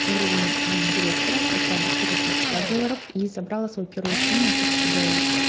уровень директора это доход от пятиста долларов и забрала свою первую премию тысячу долларов